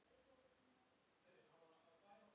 Ég var að nota tímann.